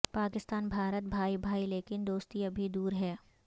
پاکستان بھارت بھائی بھائی لیکن دوستی ابھی دور ہے